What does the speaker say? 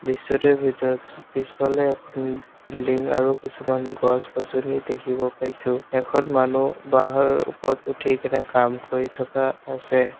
দৃশ্যটোৰ ভিতৰত পিছ পিছফালে এখন বিল্ডিং আৰু কিছুমান গছ-গছনি দেখিব পাইছোঁ এখন মানু্হ বাঁহৰ ওপৰত উঠি কেনে কাম কৰি থকা আছে।